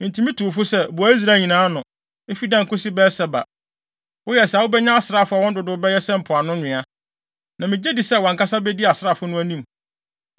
“Enti mitu wo fo sɛ, boa Israel nyinaa ano, efi Dan kosi Beer-Seba. Woyɛ saa a wubenya asraafo a wɔn dodow bɛyɛ sɛ mpoano nwea. Na migye di sɛ wʼankasa bedi asraafo no anim.